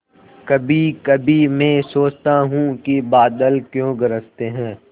कभीकभी मैं सोचता हूँ कि बादल क्यों गरजते हैं